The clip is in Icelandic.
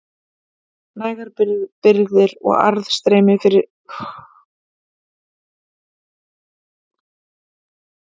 Nægar birgðir og aðstreymi fleiri liðssveita voru bandamönnum lífsnauðsynlegar.